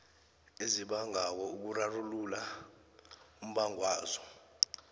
ezibangako ukurarulula umbangwazo